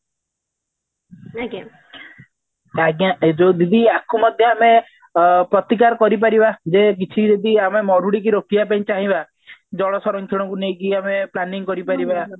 ସେଇତ ଏ ଯୋଉ ଦିଦି ଆକୁ ମଧ୍ୟ ଆମେ ଅ ପ୍ରତିକାର କରି ପାରିବା ଯେ କିଛି ଯଦି ଆମେ ମରୁଡିକୁ ରୋକିବା ପାଇଁ ଚାହିଁବା ଜଳ ସରଂକ୍ଷଣ କୁ ନେଇକି ଆମେ planning କରିପାରିବା